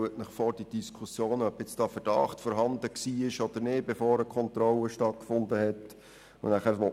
Stellen Sie sich die Diskussionen über die Frage vor, ob nun ein Anfangsverdacht vor der Kontrolle vorgelegen habe oder nicht.